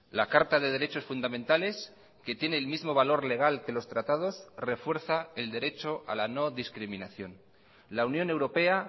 la carta de derechos fundamentales que tiene el mismo valor legal que los tratados refuerza el derecho a la no discriminación la unión europea